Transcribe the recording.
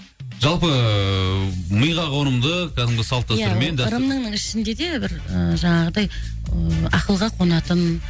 жалпы миға қонымды кәдімгі салт дәстүрмен ия ырымның ішінде де бір жаңағыдай ы ақылға қонатын